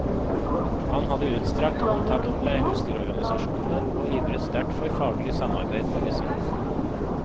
Han hadde utstrakt kontakt med husdyrorganisasjonene, og ivret sterkt for faglig samarbeid med disse.